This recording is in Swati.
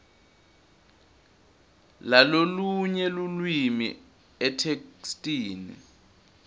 lalolunye lulwimi etheksthini